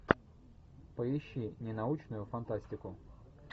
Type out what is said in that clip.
поищи ненаучную фантастику